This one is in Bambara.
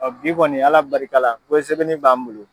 bi kɔni Ala barikala ko sɛbɛnni b'an bolo.